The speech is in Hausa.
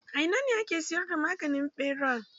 A ina a ke siyar da maganin ɓera?